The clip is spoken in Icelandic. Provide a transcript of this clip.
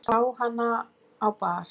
Ég sá hana á bar.